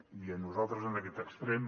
i a nosaltres en aquest extrem